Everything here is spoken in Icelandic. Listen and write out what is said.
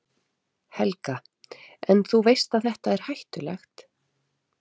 Helga: En, þú veist að þetta er hættulegt?